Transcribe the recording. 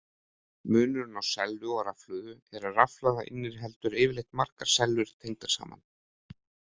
Munurinn á sellu og rafhlöðu er að rafhlaða inniheldur yfirleitt margar sellur tengdar saman.